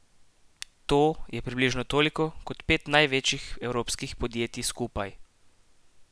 To je približno toliko kot pet največjih evropskih podjetij skupaj.